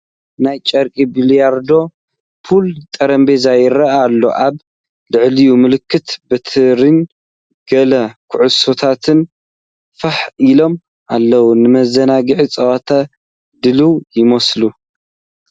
ናይ ጨርቂ ቢልያርዶ (ፑል) ጠረጴዛ ይርአ ኣሎ። ኣብ ልዕሊኡ ምልክት በትሪን ገለ ኩዕሶታትን ፋሕ ኢሎም ኣለዉ። ንመዘናግዒ ጸወታ ድሉው ይመስል!